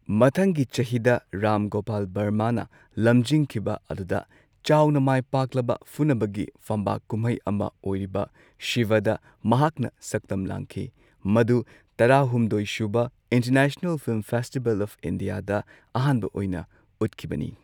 ꯃꯊꯪꯒꯤ ꯆꯍꯤꯗ, ꯔꯥꯝ ꯒꯣꯄꯥꯜ ꯕꯔꯃꯥꯅ ꯂꯃꯖꯤꯡꯈꯤꯕ ꯑꯗꯨꯗ ꯆꯥꯎꯅ ꯃꯥꯏꯄꯥꯛꯂꯕ ꯐꯨꯅꯕꯒꯤ ꯐꯝꯕꯥꯛ ꯀꯨꯝꯍꯩ ꯑꯃ ꯑꯣꯏꯔꯤꯕ, ꯁꯤꯕꯥꯗ ꯃꯍꯥꯛꯅ ꯁꯛꯇꯝ ꯂꯥꯡꯈꯤ꯫ ꯃꯗꯨ ꯇꯔꯥꯍꯨꯝꯗꯣꯏꯁꯨꯕ ꯏꯟꯇꯔꯅꯦꯁꯅꯜ ꯐꯤꯂꯝ ꯐꯦꯁꯇꯤꯕꯦꯜ ꯑꯣꯐ ꯏꯟꯗꯤꯌꯥꯗ ꯑꯍꯥꯟꯕ ꯑꯣꯏꯅ ꯎꯠꯈꯤꯕꯅꯤ꯫